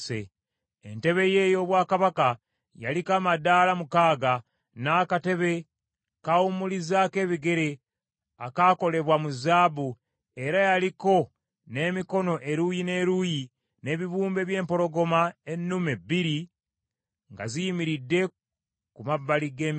Entebe ye ey’obwakabaka yaliko amaddaala mukaaga, n’akatebe kawumulizaako ebigere akaakolebwa mu zaabu, era yaliko n’emikono eruuyi n’eruuyi, n’ebibumbe by’empologoma ennume bbiri nga ziyimiridde ku mabbali g’emikono.